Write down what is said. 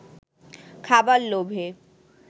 খাবার লোভে